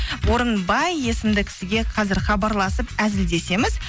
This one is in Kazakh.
орынбай есімді кісіге қазір хабарласып әзілдесеміз